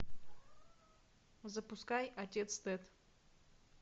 запускай отец тед